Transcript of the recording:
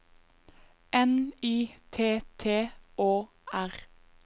N Y T T Å R